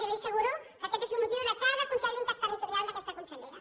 jo li asseguro que aquest és un motiu de cada consell interterritorial d’aquesta consellera